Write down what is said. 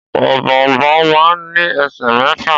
Ọ̀bọ̀ọ̀nbọọ̀n máà ń ní ẹsẹ̀ mẹ́fà.